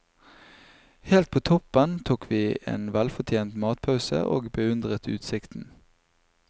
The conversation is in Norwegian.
Helt på toppen tok vi en velfortjent matpause, og beundret utsikten.